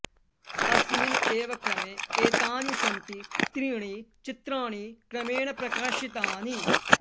अस्मिन् एव क्रमे एतानि सन्ति त्रीणि चित्राणि क्रमेण प्रकाशितानि